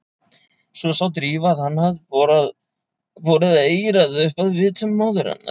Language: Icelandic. Svo sá Drífa að hann hafði borið eyrað upp að vitum móður hennar.